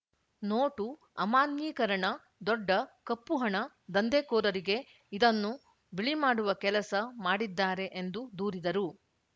note ಅಮಾನ್ಯೀಕರಣ ದೊಡ್ಡ ಕಪ್ಪು ಹಣ ದಂಧೆಕೋರರಿಗೆ ಇದನ್ನು ಬಿಳಿ ಮಾಡುವ ಕೆಲಸ ಮಾಡಿದ್ದಾರೆ ಎಂದು ದೂರಿದರು